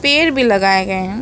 पेड़ भी लगाए गए हैं।